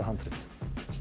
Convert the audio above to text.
handrit